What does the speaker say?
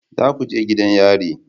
Za ku je gidan yari